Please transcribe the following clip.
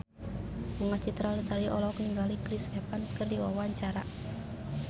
Bunga Citra Lestari olohok ningali Chris Evans keur diwawancara